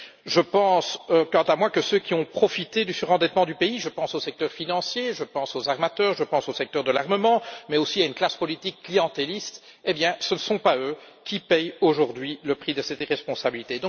Je pense, quant à moi, que ceux qui ont profité du surendettement du pays je pense au secteur financier, aux armateurs, au secteur de l'armement, mais aussi à une classe politique clientéliste ne sont pas ceux qui payent aujourd'hui le prix de cette irresponsabilité.